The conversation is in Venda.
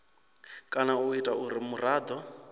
kana u ita uri muraḓo